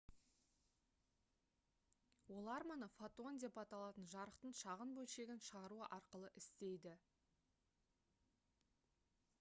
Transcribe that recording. олар мұны «фотон» деп аталатын жарықтың шағын бөлшегін шығару арқылы істейді